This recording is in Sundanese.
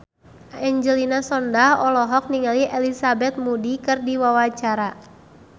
Angelina Sondakh olohok ningali Elizabeth Moody keur diwawancara